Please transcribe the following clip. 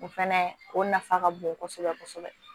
O fɛnɛ o nafa ka bon kosɛbɛ kosɛbɛ